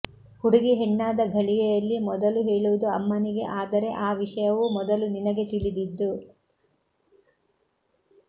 ಹುಡುಗಿ ಹೆಣ್ಣಾದ ಘಳಿಗೆಯನ್ನು ಮೊದಲು ಹೇಳುವುದು ಅಮ್ಮನಿಗೆ ಆದರೆ ಆ ವಿಷಯವೂ ಮೊದಲು ನಿನಗೆ ತಿಳಿದಿದ್ದು